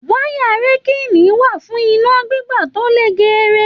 Wayà rekilini wà fún iná gbígba to là géèrè.